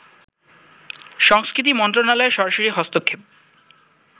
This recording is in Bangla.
সংস্কৃতি মন্ত্রণালয়ের সরাসরি হস্তক্ষেপ